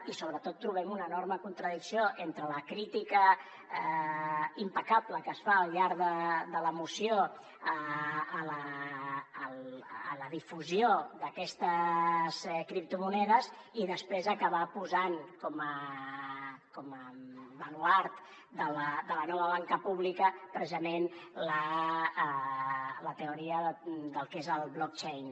i sobretot trobem una enorme contradicció entre la crítica impecable que es fa al llarg de la moció de la difusió d’aquestes criptomonedes i després acabar posant com a baluard de la nova banca pública precisament la teoria del que és el blockchain